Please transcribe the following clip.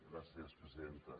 gràcies presidenta